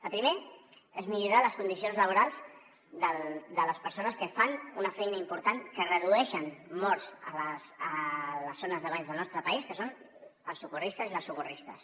el primer és millorar les condicions laborals de les persones que fan una feina important que redueixen morts a les zones de banys del nostre país que són els socorristes i les socorristes